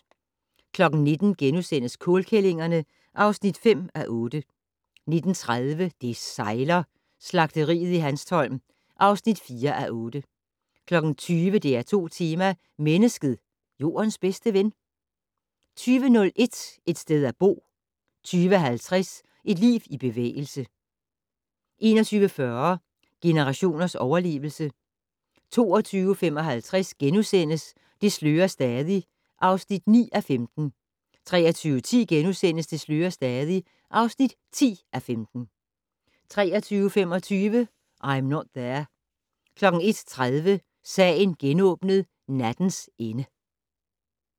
19:00: Kålkællingerne (5:8)* 19:30: Det sejler - Slagteriet i Hanstholm (4:8) 20:00: DR2 Tema: Mennesket - Jordens bedste ven? 20:01: Et sted at bo 20:50: Et liv i bevægelse 21:40: Generationers overlevelse 22:55: Det slører stadig (9:15)* 23:10: Det slører stadig (10:15)* 23:25: I'm Not There 01:30: Sagen genåbnet: Nattens ende